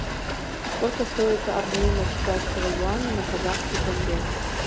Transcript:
сколько стоит обмен китайского юаня на казахский тенге